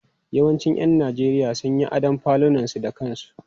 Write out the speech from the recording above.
Yawancin 'yan Najeriya sun yi adon falunansu da kansu.